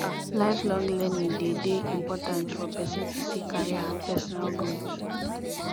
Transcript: lifelong learning de de important for persin to see career and personal growth